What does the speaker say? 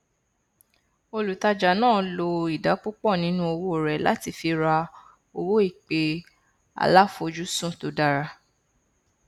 olùtajà náà lo ìdá púpọ nínú owó rẹ láti fi ra owó ìpè aláfojúsùn tó dára